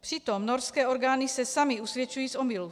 Přitom norské orgány se samy usvědčují z omylu.